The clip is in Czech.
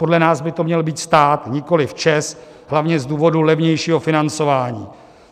Podle nás by to měl být stát, nikoliv ČEZ, hlavně z důvodu levnějšího financování.